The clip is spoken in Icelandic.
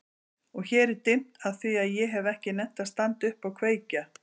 Og hér er dimmt afþvíað ég hef ekki nennt að standa upp og kveikja.